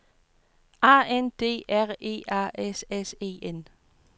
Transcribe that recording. A N D R E A S S E N